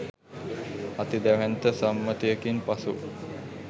අති දැවැන්ත සම්මතයකින් පසු